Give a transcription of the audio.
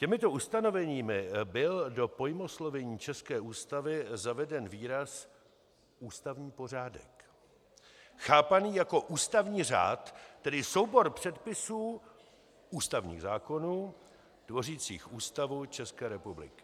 Těmito ustanoveními byl do pojmoslovení české ústavy zaveden výraz "ústavní pořádek", chápaný jako ústavní řád, tedy soubor předpisů, ústavních zákonů, tvořících Ústavu České republiky.